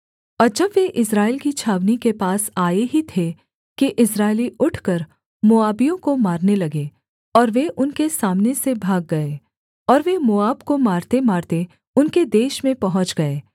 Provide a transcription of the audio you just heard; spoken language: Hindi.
और जब वे इस्राएल की छावनी के पास आए ही थे कि इस्राएली उठकर मोआबियों को मारने लगे और वे उनके सामने से भाग गए और वे मोआब को मारतेमारते उनके देश में पहुँच गए